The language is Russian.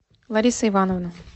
лариса ивановна